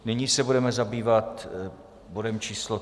Nyní se budeme zabývat bodem číslo